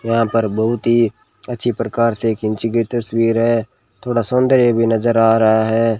यहां पर बहुत ही अच्छी प्रकार से एक खींची गई तस्वीर है थोड़ा सौंदर्य भी नजर आ रहा है।